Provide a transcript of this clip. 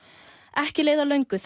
ekki leið á löngu